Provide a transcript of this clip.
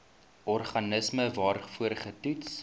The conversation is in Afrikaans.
organisme waarvoor getoets